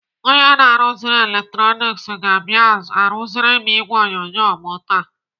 Onye na-arụziri eletroniks ga-abịa arụziri m ìgwè onyonyo m taa.